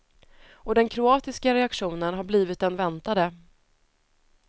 Och den kroatiska reaktionen har blivit den väntade.